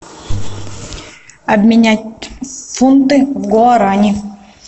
обменять фунты в гуарани